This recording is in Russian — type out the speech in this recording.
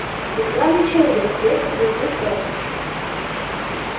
вы странный человек резко заявил ферл